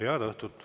Head õhtut!